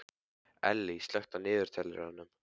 Ellý, slökktu á niðurteljaranum.